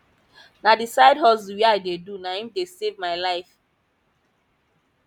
na the side hustle wey i dey do na im dey save my life